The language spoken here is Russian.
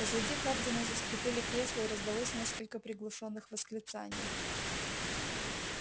позади хардина заскрипели кресла и раздалось несколько приглушённых восклицаний